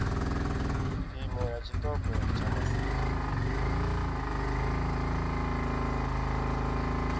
phimo ya tshiṱoko tsha masimu